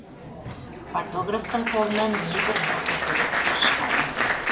фотографтың қолынан небір фотосуреттер шығады